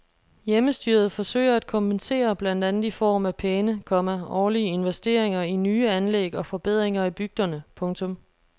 Hjemmestyret forsøger at kompensere blandt andet i form af pæne, komma årlige investeringer i nye anlæg og forbedringer i bygderne. punktum